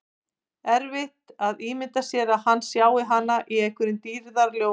Erfitt að ímynda sér að hann sjái hana í einhverjum dýrðarljóma.